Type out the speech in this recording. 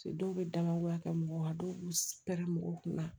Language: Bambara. Dɔw bɛ dalagoya kɛ mɔgɔ la dɔw b'u pɛrɛn mɔgɔw kunna